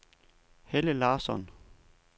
Helle Larsson